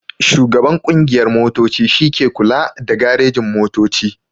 Shugaban ƙungiyar motoci shi ke kula da garejin-motoci.